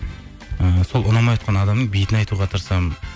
і сол ұнамай отқан адамның бетіне айтуға тырысамын